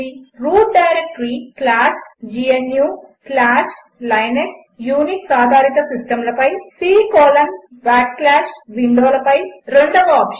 route directory gnuలినక్స్ Unix ఆధారిత సిస్టంల పై c విండోల పై రెండవ ఆప్షన్